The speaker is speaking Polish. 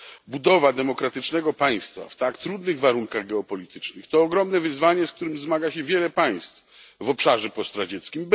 Budowa demokratycznego państwa w tak trudnych warunkach geopolitycznych to ogromne wyzwanie, z którym zmaga się wiele krajów w obszarze postradzieckim.